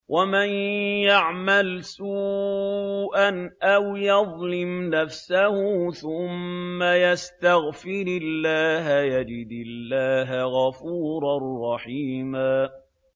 وَمَن يَعْمَلْ سُوءًا أَوْ يَظْلِمْ نَفْسَهُ ثُمَّ يَسْتَغْفِرِ اللَّهَ يَجِدِ اللَّهَ غَفُورًا رَّحِيمًا